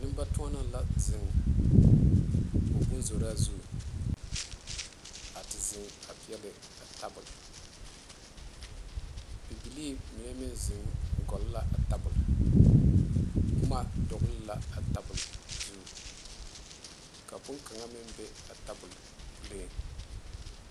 Nenbatɔɔne la zeŋ o bonzora zu a te zeŋ a peɛle a tabol bibile mine meŋ zeŋ gɔgle la a tabol boma dogle la a tabol zu ka bonkaŋa meŋ be a tabol puli.